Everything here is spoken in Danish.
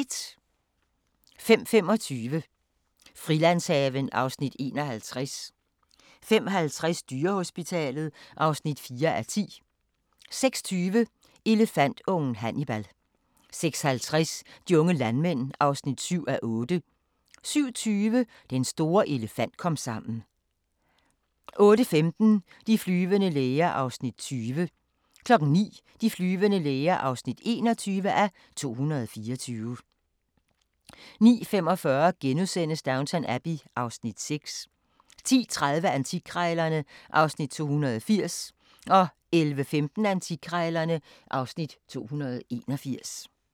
05:25: Frilandshaven (Afs. 51) 05:50: Dyrehospitalet (4:10) 06:20: Elefantungen Hannibal 06:50: De unge landmænd (7:8) 07:20: Den store elefant-komsammen 08:15: De flyvende læger (20:224) 09:00: De flyvende læger (21:224) 09:45: Downton Abbey (Afs. 6)* 10:30: Antikkrejlerne (Afs. 280) 11:15: Antikkrejlerne (Afs. 281)